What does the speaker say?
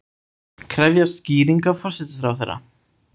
Krefjast skýringa forsætisráðherra